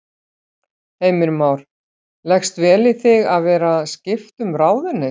Heimir Már: Leggst vel í þig að vera skipta um ráðuneyti?